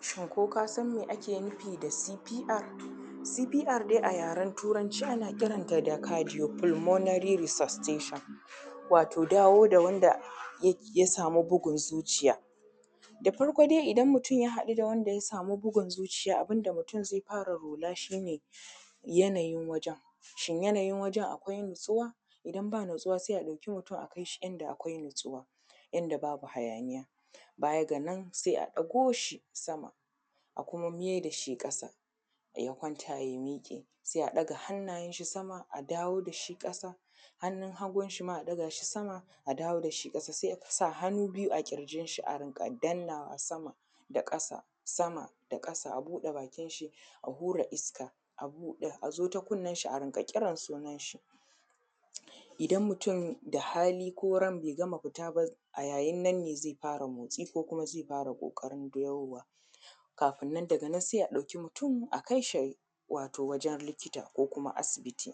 Shin ko kasan me ake nufi da C.P.R.? cpr dai a yaran turanci ana kiranta da cadio polunomary resastation wato dawo da wanda ya samu bugun zuciya, da farko dai idan mutum ya haɗu da wanda ya samu bugun zuciya abin da mutum zai fara lura shi ne yanayin wajen, shin yanayin wajen akwai natsuwa idan ba natsuwa sai a ɗauki mutum a kai shi inda akwai natsuwa inda babu hayaniya baya ga nan sai a ɗago shi sama a kuma mai da shi ƙasa da ya kwanta ya miƙe sai a ɗaga hannayen shi sama a dawo da shi ƙasa hannun hagun shi ma a ɗaga shi sama a dawo da shi ƙasa sai a sa hannu biyu a ƙirjin shi a riƙa dannawa sama da ƙasa sama da ƙasa sai a buɗe bakin shi a hura iska a zo kunnan shi a rinƙa kiran sunan shi idan mutum da hali ko ran bai gama fita ba a yayin nan ne zai fara motsi ko kuma zai fara ƙoƙarin dawowa kafin nan daga nan sai a ɗauki mutum a kai shi wato wajen likita ko kuma asibiti,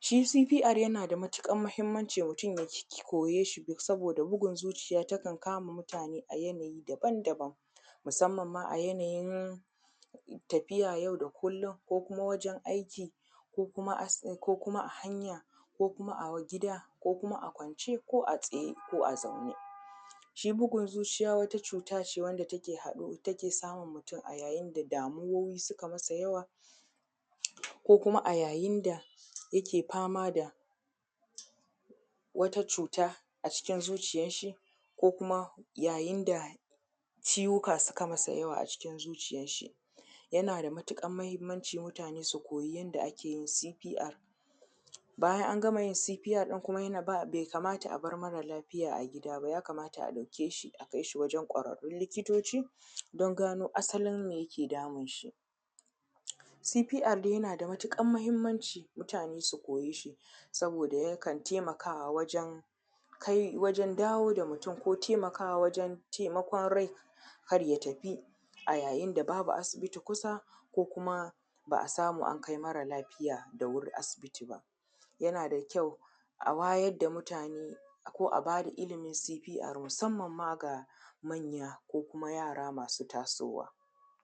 shi cpr yana da matuƙar mahimmanci mutum ya koye shi saboda bugun zuciya takan kama mutane a yanayi daban daban musamman ma a yanayin tafiya yau da kullum ko kuma wajen aiki ko kuma as ko kuma hanya ko kuma a gida ko kuma a kwance ko a tsaye ko a zaune, shi bugun zuciya wata cuta ce wanda take haɗu take samun mutum a yayin da damuwoyi suka masa yawa ko kuma a yayin da yake fama da wata cuta a cikin zuciyan shi ko kuma yayin da ciwuka suka masa yawa a cikin zuciya shi yana da matuƙan mahimmanci mutane su koyi yanda ake yin “CPR”, bayan an gama yin cpr ɗin kuma bai kamata a bar marar lafiya a gida ba ya kamata a ɗauke shi a kais hi wajen ƙwararrun likitoci dan gano asalin mai yake damun shi “CPR” dai yana da matuƙar mahimmanci mutane su koye shi saboda yakan taimakawa wajen kai wajen dawo da mutum ko taimakawa wajen taimakon rai kar ya tafi a yayin da babu asibiti kusa ko kum ba a samu an kai marar lafiya da wuri asibiti ba yana da kyau a wayar da mutane ko a ba da ilimin cpr musamman ma ga manya ko kuma yara masu.